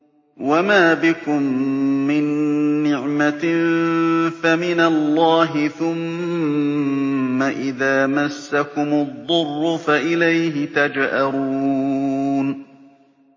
وَمَا بِكُم مِّن نِّعْمَةٍ فَمِنَ اللَّهِ ۖ ثُمَّ إِذَا مَسَّكُمُ الضُّرُّ فَإِلَيْهِ تَجْأَرُونَ